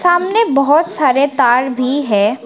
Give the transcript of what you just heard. सामने बहोत सारे तार भी हैं।